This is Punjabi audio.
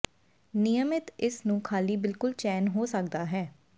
ਿਨਯਮਤ ਇਸ ਨੂੰ ਖਾਲੀ ਬਿਲਕੁਲ ਚੈਨ ਹੋ ਸਕਦਾ ਹੈ